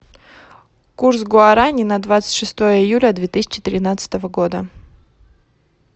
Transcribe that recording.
курс гуарани на двадцать шестое июля две тысячи тринадцатого года